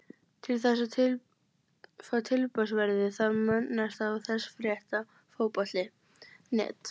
Til þess að fá tilboðsverðið þarf að minnast á þessa frétt á Fótbolti.net.